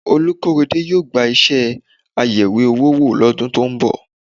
Olúkóredé yóò gba iṣẹ́ ayẹ̀wé owó wò lọ́dún tó ń bọ̀